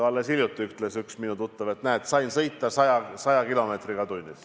Alles hiljuti ütles üks minu tuttav, et näed, sain sõita 100 kilomeetriga tunnis.